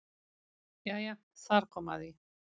Jæja þar kom að því.